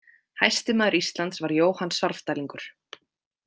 Hæsti maður Íslands var Jóhann Svarfdælingur.